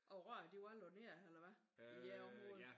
Og rørene de var lagt ned eller hvad? I jeres område?